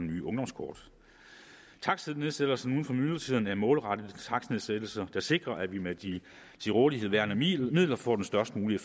nye ungdomskort takstnedsættelser uden for myldretiden er målrettede takstnedsættelser der sikrer at vi med de til rådighed værende midler får den størst mulige